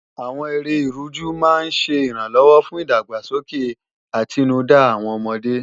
Àwọn eré Ìrújú máa ń ṣẹ ìrànlọ́wọ́ fún ìdàgbàsókè àtinúdá àwọn ọmọdé